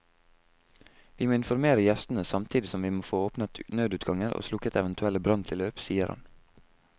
Vi må informere gjestene samtidig som vi må få åpnet nødutganger og slukket eventuelle branntilløp, sier han.